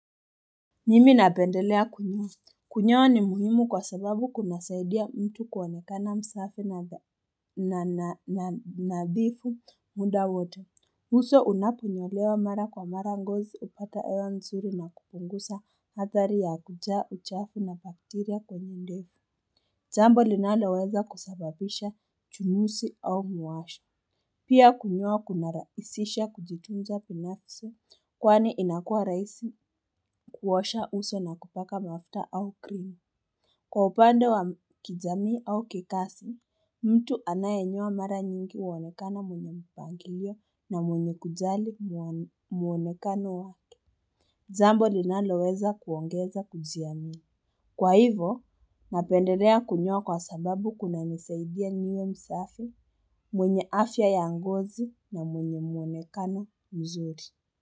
Mimi napendelea kunyoa. Kunyoa ni muhimu kwa sababu kunasaidia mtu kuonekana msafi na nadhifu muda wote uso unaponyolewa mara kwa mara ngozi hupata hewa nzuri na kupungusa hadhari ya kujaa uchafu na bakteria kwenye ndefu jambo linaloweza kusababisha uchu usi au muwasho Pia kunyoa kuna raisisha kujitunza binafsi kwani inakua rahisi kuosha uso na kupaka mafuta au cream. Kwa upande wa kijamii au kikasi, mtu anayenyoa mara nyingi huonekana mwenye mpangilio na mwenye kujali muo muonekano wake jambo linalo weza kuongeza kujiamini. Kwa hivo, napendelea kunyoa kwa sababu kuna nisaidia niwe msafi, mwenye afya ya ngozi na mwenye muonekano mzuri.